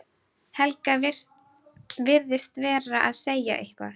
Helga virðist vera að segja eitthvað.